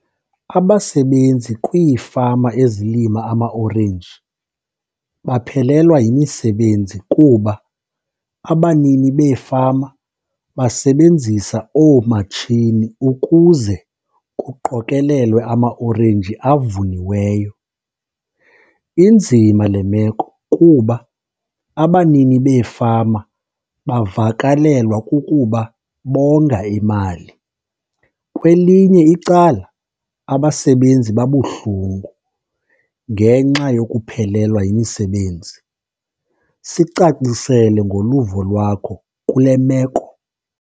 Abasebenzi kwiifama ezilima amaorenji baphelelwa yimisebenzi kuba abanini beefama basebenzisa oomatshini ukuze kuqokelelwe amaorenji avuniweyo. Inzima le meko kuba abanini beefama bavakalelwa kukuba bonga imali. Kwelinye icala abasebenzi babuhlungu ngenxa yokuphelelwa yimisebenzi. Sicacisele ngoluvo lwakho kule meko.